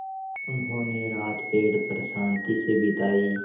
उन्होंने रात पेड़ पर शान्ति से बिताई